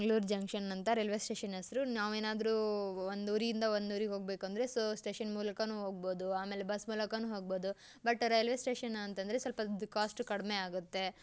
Mangalore junction ಅಂತ railway station ಹೆಸರು ನಾವ್ ಏನಾದ್ರು ಒಂದು ಊರಿಂದ ಒಂದು ಊರಿಗೆ ಹೋಗ್ಬೇಕು ಅಂದ್ರೆ ಸ್ಟೇಷನ್ ಮೂಲಕ ಹೋಗ್ ಬೋದು ಬಸ್ ಮೂಲಕನು ಹೋಗ್ಬೋದು ರೈಲ್ವೆ ಸ್ಟೇಷನ್ ಮೂಲಕ ಹೋಗೋದ್ರಿಂದ ಕಾಸ್ಟ್ ಕಡಿಮೆ ಆಗುತ್ತೆ.